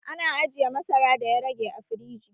Ana ajiye masara da ya rage a firiji